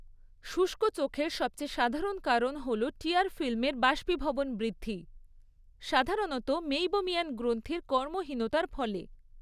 শুষ্ক চোখের সবচেয়ে সাধারণ কারণ হল টিয়ার ফিল্মের বাষ্পীভবন বৃদ্ধি, সাধারণত মেইবোমিয়ান গ্রন্থির কর্মহীনতার ফলে।